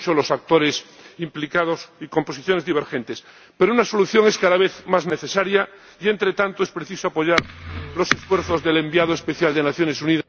Son muchos los actores implicados y con posiciones divergentes, pero una solución es cada vez más necesaria y entre tanto es preciso apoyar los esfuerzos del enviado especial de las Naciones Unidas...